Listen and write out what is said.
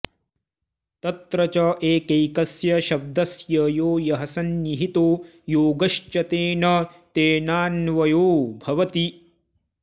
तत्र च एकैकस्य शब्दस्य यो यः संनिहितो योग्यश्च तेन तेनान्वयो भवति